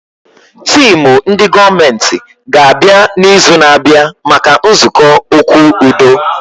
Teemu ndị gọọmenti ga abịa na izu na abịa maka nzukọ okwu udo